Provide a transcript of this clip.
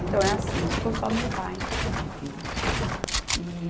Então é assim, ficou só meu pai de filhos. E